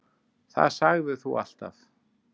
Það sagðir þú alltaf.